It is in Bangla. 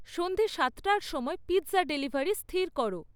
সন্ধে সাতটার সময় পিৎজা ডেলিভারি স্থির করো